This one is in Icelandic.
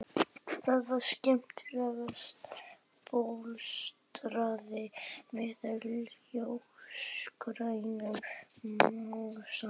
Það var smekklega bólstrað með ljósgrænum mosa.